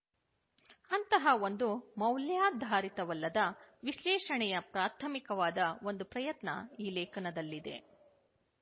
ಅಂತಹ ಒಂದು ಮೌಲ್ಯಾಧಾರಿತವಲ್ಲದ ವಿಶ್ಲೇಷಣ ಪ್ರಾಥಮಿಕವಾದ ಒಂದು ಪ್ರಯತ್ನ ಈ ಲೇಖನದಲ್ಲಿದೆ